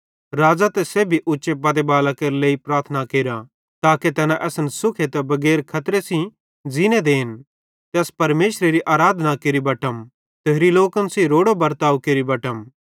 राज़ां ते सेब्भी उच्चे पदे बालां केरा लेइ प्रार्थना केरा ताके तैना असन सुखे ते बगैर खतरे सेइं ज़ींने देन ते अस परमेशरेरी आराधना केरि बटतम ते होरि लोकन सेइं रोड़ो बर्ताव केरि बटम